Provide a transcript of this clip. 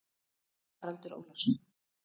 Haraldur Ólafsson.